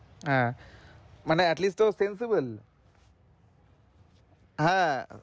হ্যাঁ মানে at least ও sensibull হ্যাঁ,